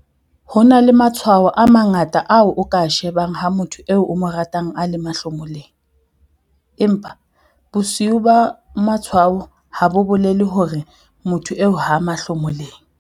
Ho na le matshwao a mangata ao o ka a shebang ha motho eo o mo ratang a le mahlomoleng, empa bosio ba matshwao ha bo bolele hore motho eo ha a mahlomoleng.